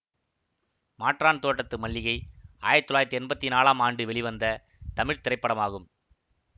மாற்றான் தோட்டத்து மல்லிகை ஆயிரத்தி தொள்ளாயிரத்தி என்பத்தி நான்கு ஆம் ஆண்டு வெளிவந்த தமிழ் திரைப்படமாகும்